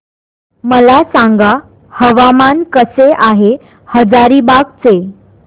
मला सांगा हवामान कसे आहे हजारीबाग चे